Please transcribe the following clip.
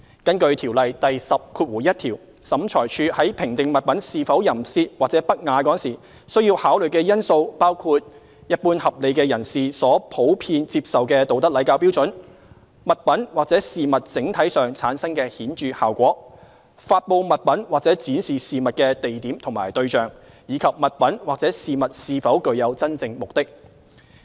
根據《條例》第101條，審裁處在評定物品是否淫褻或不雅時，須考慮的因素包括一般合理的社會人士所普遍接受的道德禮教標準；物品或事物整體上產生的顯著效果；發布物品或展示事物的地點和對象；以及物品或事物是否具有真正目的。